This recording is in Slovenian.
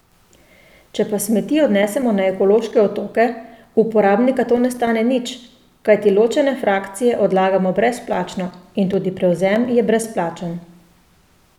Če pa smeti odnesemo na ekološke otoke, uporabnika to ne stane nič, kajti ločene frakcije odlagamo brezplačno in tudi prevzem je brezplačen.